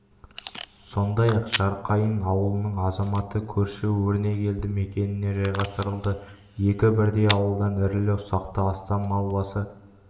сондай-ақ жарқайың ауылының азаматы көрші өрнек елді мекеніне жайғастырылды екі бірдей ауылдан ірілі-ұсақты астам мал басы